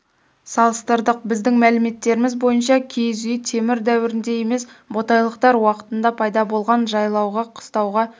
салыстырдық біздің мәліметтеріміз бойынша киіз үй темір дәуірінде емес ботайлықтар уақытында пайда болған жайлауға қыстауға